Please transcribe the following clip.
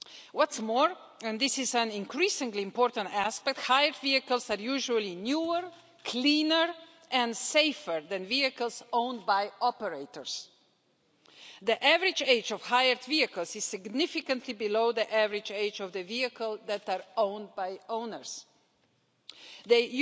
What is more and this is an increasingly important aspect hired vehicles are usually newer, cleaner and safer than the vehicles owned by the operators. The average age of hired vehicles is significantly below the average age of the vehicles that are owned by the